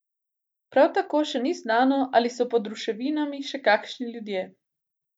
Prav tako še ni znano, ali so pod ruševinami še kakšni ljudje.